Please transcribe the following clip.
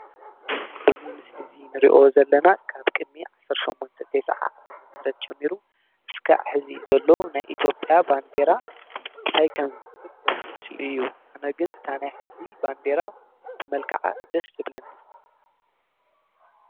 ኣዙ ምስል እዙይ ንርዮ ዘለና ካብ ቅድሚ ዓሰርተሸሞንተ ቴስዓ ኣመተምህረት ጀሚሩ እስካ ሕዚ ዘሎ ንይ ኢትዮጲያ ባንዴራ እንታይ ከም ዝመስል ዘርኢ ምስሊ እዩ ኣነግን ታነይ ሕዚ ባንዴራ ብመልከዓ ደስ ብለኒ።